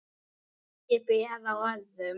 Ekki ber á öðru.